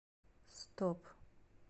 стоп